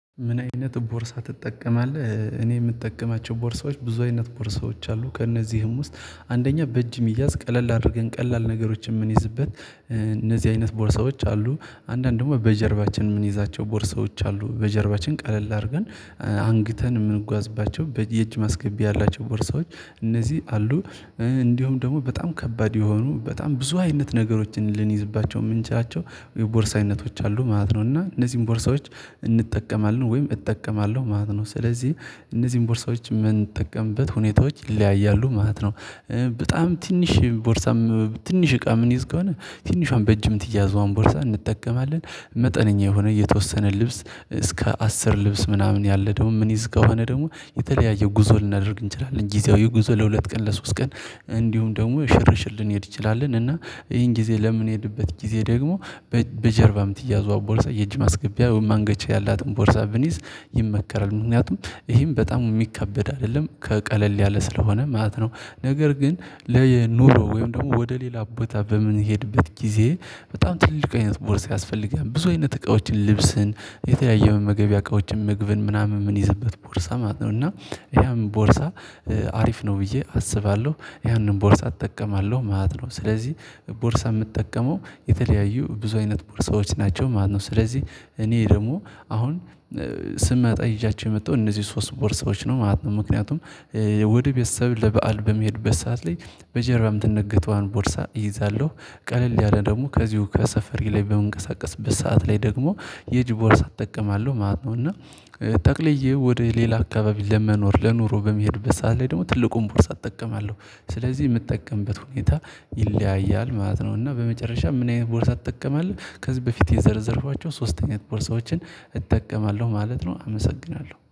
ምን አይነት ቦርሳ ትጠቀማለህ? እኔ የምጠቀማቸው ቦርሳዎች ብዙ አይነት ቦርሳዎች አሉ። ከእነዚህም ውስጥ አንደኛ በእጅ እሚያዝ ቀለል አድርገን ቀላል ነገሮችን የምንይዝበት እነዚህ አይነት ቦርሳዎች አሉ። አንዳንድ ደግሞ በጀርባችን የምንይዛቸው ቦርሳዎች አሉ። በጀርባችን ቀለል አድርገን ምን አይነት ቦርሳ ትጠቀማለህ? እኔ የምጠቀማቸው ቦርሳዎች ብዙ አይነት ቦርሳዎች አሉ ከእነዚህም ውስጥ አንደኛ በእጅ እሚያዝ ቀለል አድርገን ቀላል ነገሮችን የምንይዝበት እነዚህ አይነት ቦርሳዎች አሉ። አንዳንድ ደግሞ በጀርባችን የምንይዛቸው ቦርሳዎች አሉ። በጀርባችን ቀለል አድርገን እንዲሁም ደግሞ በጣም ከባድ የሆኑ በጣም ብዙ አይነት ነገሮችን ልንይዝባቸው የምንችላቸው የቦርሳ አይነቶች አሉ ማለት ነው። እና እነዚህን ቦርሳዎች እንጠቀማለን ወይም እጠቀማለሁ ማለት ነው። ስለዚህ እነዚህን ቦርሳዎች የምንጠቀምበት ሁኔታዎች ይለያያሉ ማለት ነው። በጣም ትንሽ ቦርሳም ትንሽ እቃ ምንይዝ ከሆነ ትንሿን በእጅ የምትያዘዋን ቦርሳ እንጠቀማለን። መጠነኛ የሆነ የተወሰነ ልብስ እስከ አስር ልብስ ምናምን ያለ ደግሞ ምንይዝ ከሆነ ደግሞ የተለያየ ጉዞ ልናደርግ እንችላለን ጊዜያዊ ጉዞ ለሁለት ቀን ለሶስት ቀን እንዲሁም ደግሞ ሽርሽር ልንሄድ እንችላለን። እና ይሄን ጊዜ ለምንሄድበት ጊዜ ደግሞ በጀርባ የምትያዘዋ ቦርሳ የእጅ ማስገቢያ ወይም ማንገቻ ያላትን ቦርሳ ብንይዝ ይመከራል። ምክንያቱም ይሄም በጣም የሚካበድ አይደለም ከቀለል ያለ ስለሆነ ማለት ነው። ነገር ግን ለኑሮ ወይም ደግሞ ወደ ሌላ ቦታ በምንሄድበት ጊዜ በጣም ትልቅ አይነት ቦርስ ያስፈልጋል ብዙ አይነት እቃዎችን ልብስን የተለያየ መመገቢያ እቃዎችን ምግብን ምናምን የምንይዝበት ቦርሳ ማለት ነው። እና ያም ቦርሳ አሪፍ ነው ብዬ አስባለሁ ያንን ቦርሳ እጠቀማለሁ ማለት ነው። ስለዚህ ቦርሳ የምጠቀመው የተለያዩ ብዙ አይነት ቦርሳዎች ናቸው ማለት ነው። ስለዚህ እኔ ደግሞ አሁን ስመጣ ይዣቸው የመጣው እነዚህ ሶስት ቦርሳዎች ነው ማለት ነው። ምክንያቱም ወደ ቤተሰብ ለበአል በምሄድበት ሰዓት ላይ በጀርባ የምትነገተዋን ቦርሳ እይዛለሁ። ቀለል ያለ ደግሞ ከዚሁ ከሰፈሬ ላይ በምንቀሳቀስበት ሰዓት ላይ ደግሞ የእጅ ቦርሳ እጠቀማለሁ ማለት ነው። እና ጠቅልዬ ወደ ሌላ አካባቢ ለመኖር ለኑሮ በምሄድበት ሰዓት ላይ ደግሞ ትልቁን ቦርሳ እጠቀማለሁ ስለዚህ የምጠቀምበት ሁኔታ ይለያያል ማለት ነው። እና በመጨረሻ ምን አይነት ቦርሳ ትጠቀማለህ? ከዚህ በፊት የዘረዘርኳቸው ሶስት አይነት ቦርሳዎችን እጠቀማለሁ ማለት ነው። አመሰግናለሁ